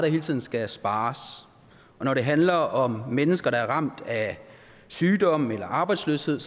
hele tiden skal spares når det handler om mennesker der er ramt af sygdom eller arbejdsløshed